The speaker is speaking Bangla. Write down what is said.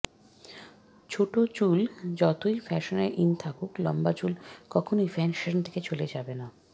ছোট চুল যতই ফ্যাশনে ইন থাকুক লম্বা চুল কখনওই ফ্যাশন থেকে চলে যাবে না